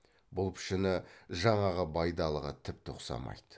бұл пішіні жаңағы байдалыға тіпті ұқсамайды